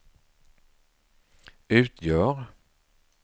utgör